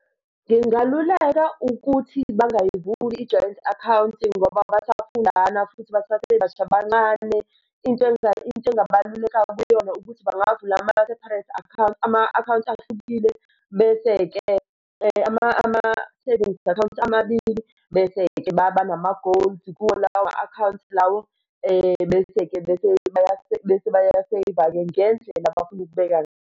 Ngingaluleka ukuthi bangayivuli i-joint account ngoba basafundana futhi basasebasha bancane. Into into engabaluleka kuyona ukuthi bangavula ama-separate account, ama-akhawaunti ahlukile bese-ke ama-savings account amabili bese-ke banama-goals kuwo lawo ma-accounts lawo. Bese-ke bese bese bayaseyiva-ke ngendlela abafuna ukubeka.